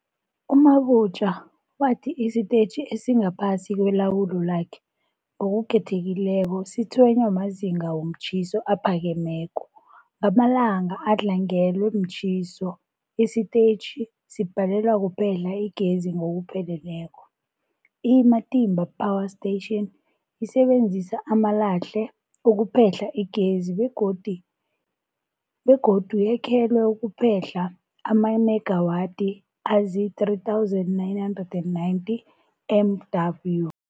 U-Mabotja wathi isitetjhi esingaphasi kwelawulo lakhe, ngokukhethekileko, sitshwenywa mazinga womtjhiso aphakemeko. Ngamalanga adlangelwe mtjhiso, isitetjhi sibhalelwa kuphehla igezi ngokupheleleko. I-Matimba Power Station isebenzisa amalahle ukuphehla igezi begodu yakhelwe ukuphehla amamegawathi azii-3990 MW.